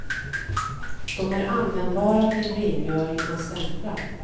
De är användbara till rengöring av stämplar.